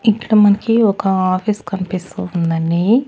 ఇక్కడ మనకి ఒక ఆఫీస్ కనిపిస్తూ ఉండండి.